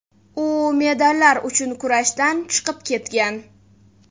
U medallar uchun kurashdan chiqib ketgan.